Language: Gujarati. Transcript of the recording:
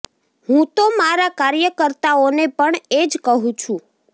હું તો મારા કાર્યકર્તાઓને પણ એ જ કહું છું